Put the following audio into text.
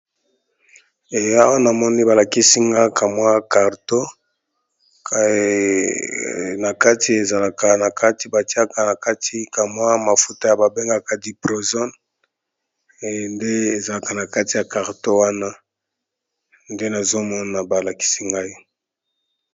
Kisi ba bengi diproson nakati ya carton nango.